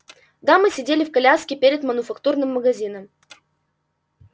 дамы сидели в коляске перед мануфактурным магазином